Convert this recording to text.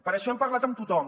per això hem parlat amb tothom